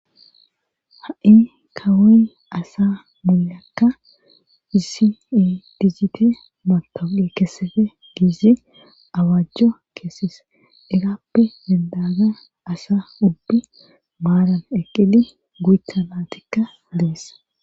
ha7i kawoy asa mulakka isiidizite mato7e kesefe giizi awaajjo keesis egappe dendaga asa ubbi maaran eqqili guyutanaatikka deessa